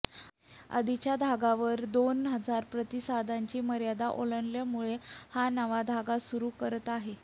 आधीच्या धाग्याव र दोन हजार प्रतिसादांची मर्यादा ओलांडल्यामुळे हा नवा धागा सुरू करत आहे